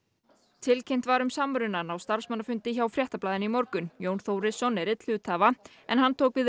tilkynnt var um samrunann á starfsmannafundi hjá Fréttablaðinu í morgun Jón Þórisson er einn hluthafa en hann tók við